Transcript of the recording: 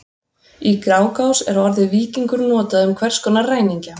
Í Grágás er orðið víkingur notað um hvers konar ræningja.